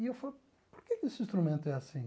E eu falei, por que que esse instrumento é assim?